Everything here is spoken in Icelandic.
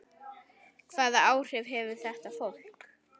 Hvaða áhrif hefur þetta fólk?